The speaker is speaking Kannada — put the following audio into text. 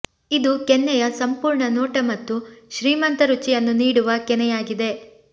ಇದು ಕೆನ್ನೆಯ ಸಂಪೂರ್ಣ ನೋಟ ಮತ್ತು ಶ್ರೀಮಂತ ರುಚಿಯನ್ನು ನೀಡುವ ಕೆನೆಯಾಗಿದೆ